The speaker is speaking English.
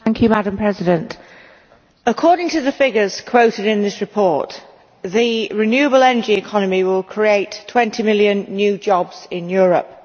Madam President, according to the figures quoted in this report, the renewable energy economy will create 20 million new jobs in Europe.